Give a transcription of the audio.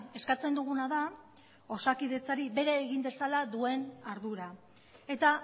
eskatzen duguna da osakidetzari bere egin dezala duen ardura eta